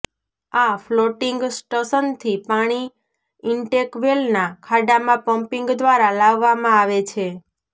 આ ફ્લોટીંગ સ્ટશનથી પાણી ઇંટેકવેલના ખાડામાં પમ્મીંગ દ્વારા લાવવામાં આવે છે